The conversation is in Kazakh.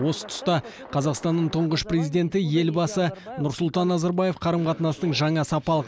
осы тұста қазақстанның тұңғыш президенті елбасы нұрсұлтан назарбаев қарым қатынастың жаңа сапалық